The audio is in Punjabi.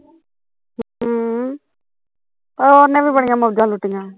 ਹਮ ਆਹੋ ਉਹਨੇ ਵੀ ਬੜੀਆ ਮੋਜਾ ਲੁੱਟੀਆਂ